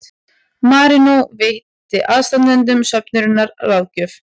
Marínó veitti aðstandendum söfnunarinnar ráðgjöf